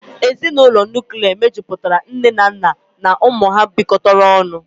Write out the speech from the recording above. Ezinụlọ Nuklia mejupụtara nne na nna na ụmụ ha bịkotara ọnụ